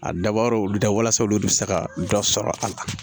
A dabɔra olu da walasa olu bɛ se ka dɔ sɔrɔ a la